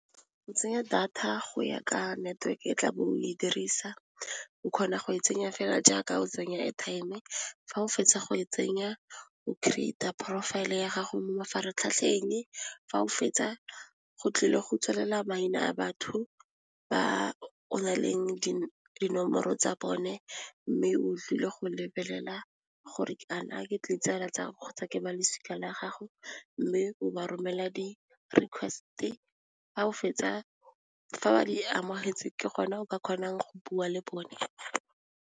Go tsenya data go ya ka network-e tla bo o e dirisa o kgona go e tsenya fela jaaka o tsenya airtime, fa o fetsa go e tsenya o create-a profile e ya gago mo mafaratlhatlheng, fa o fetsa go tlile go tswelela maina a batho ba na leng dinomoro tsa bone mme o tlile go lebelela gore a na ke ditsala kgotsa ke balosika la gago mme o ba romela di request-e fa o fetsa fa ba di amogetse ke gone o ka kgonang go bua le bone.